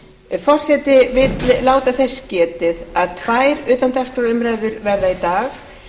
forseti vill láta þess getið að tvær utandagskrárumræður verða í dag hin fyrri